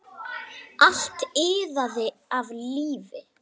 Allt iðaði af lífi.